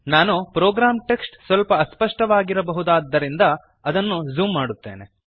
ನಾನು program text ಸ್ವಲ್ಪ ಅಸ್ಪಷ್ಟವಾಗಿರಬಹುದಾದ್ದರಿಂದ ಅದನ್ನು ಝೂಮ್ ಮಾಡುತ್ತೇನೆ